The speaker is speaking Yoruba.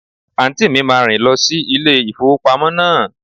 Àǹtí mi máa rìn lọ sí ilé ìfowópamọ́ náà.